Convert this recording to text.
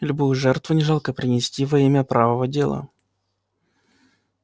любую жертву не жалко принести во имя правого дела